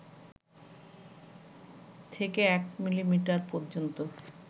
থেকে ১ মিলিমিটার পর্যন্ত